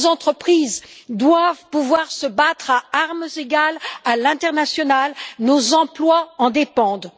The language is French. Nos entreprises doivent pouvoir se battre à armes égales à l'international, nos emplois en dépendent.